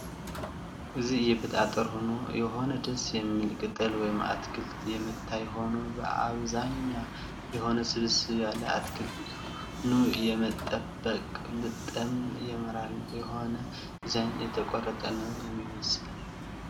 እዚ የቤት አጠር ሁኖ የሆነ ደስ የሚል ቅጠል ወይም ኣትክልት የመታይ ሆኖ ብኣብ ዛኛ የሆነስብስበ ያለ ኣትክል ኑ የመበቅል ብጠም የምራል የሆነ ድዛይን የተቆረፀ ነው የሚመስል።